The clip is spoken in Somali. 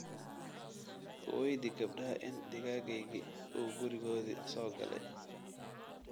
Weydii gabadha in digaaggayagii uu gurigoodii soo galay